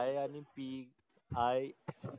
I आणि PI